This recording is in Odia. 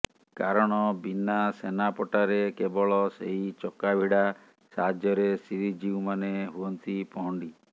କାରଣ ବିନା ସେନାପଟାରେ କେବଳ ସେହି ଚକାଭିଡା ସାହାଯ୍ୟରେ ଶ୍ରୀଜିଉମାନେ ହୁଅନ୍ତି ପହଣ୍ଡି